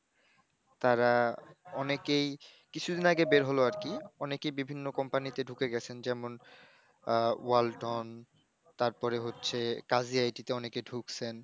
তারা অনেকেই কিছুদিন আগে বের হলো আর কি, অনেকেই বিভিন্ন Company তে ঢুকে গেছেন যেমন, আহ, Wall ton তারপরে হচ্ছে, Caziity তে অনেকে ঢুকছেন।